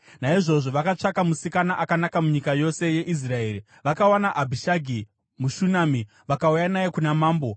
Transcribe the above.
Naizvozvo, vakatsvaka musikana akanaka munyika yose yeIsraeri, vakawana Abhishagi, muShunami, vakauya naye kuna mambo.